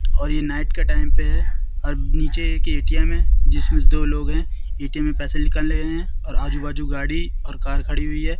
और ये नाइट का टाइम पे है और नीचे एक ए_टी_एम है जिसमें दो लोग हैं ए_टी_एम में पैसे निकाल रहे हैं और आजू बाजू गाड़ी और कार खड़ी हुई है।